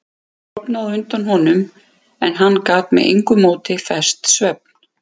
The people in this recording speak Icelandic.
Hún sofnaði á undan honum en hann gat með engu móti fest svefn.